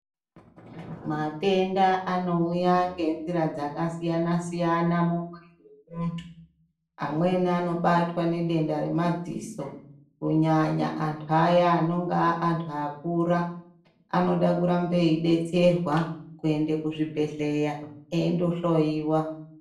Matenda anouya ngenzira dzakasiyana-siyana mumwiri memuntu. Amweni anobatwa ngedenda remadziso kunyanya antu aya anonga aantu akura. Anode kurambe eibetserwa kuende kuzvibhedhleya endohloiwa.